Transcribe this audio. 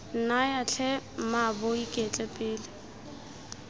nnyaya tlhe mmaabo iketle pele